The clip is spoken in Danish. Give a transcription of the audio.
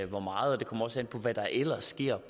hvor meget det kommer også an på hvad der ellers sker